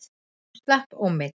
Hún slapp ómeidd.